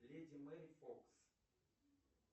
леди мэри фокс